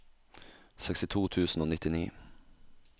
sekstito tusen og nittini